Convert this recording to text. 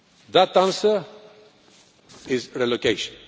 That answer is relocation.